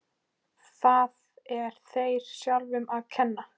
Það er þér sjálfum að kenna.